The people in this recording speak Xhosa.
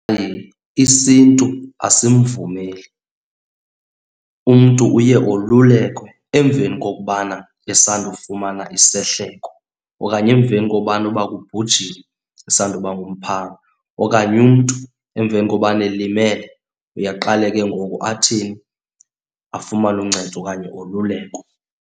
Hayi, isiNtu asimvumeli. Umntu uye olulelekwe emveni kokubana esandofumana isehloko okanye emveni kobana uba kubhujiwe, isandoba ngumphanga. Okanye umntu emveni kobana elimele uye aqale ke ngoku athini, afumane uncedo okanye olulekwe.